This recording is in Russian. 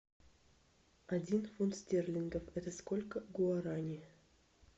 один фунт стерлингов это сколько гуарани